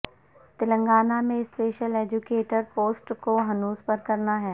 تلنگانہ میں special educator posts کو ہنوز پر کرنا ہے